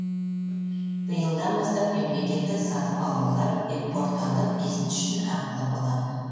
биылдан бастап мемлекеттік сатып алулар веб порталы бизнес үшін ақылы болады